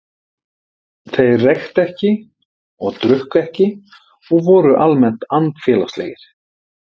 Þeir reyktu ekki og drukku ekki og voru almennt andfélagslegir.